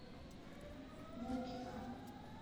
букина